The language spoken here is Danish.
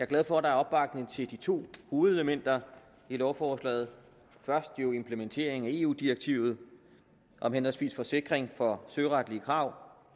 glad for at der er opbakning til de to hovedelementer i lovforslaget implementeringen af eu direktiverne om henholdsvis forsikring for søretlige krav